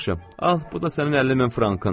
"Yaxşı, al, bu da sənin 50 min frankın."